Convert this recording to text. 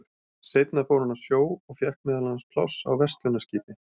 Seinna fór hann á sjó og fékk meðal annars pláss á verslunarskipi.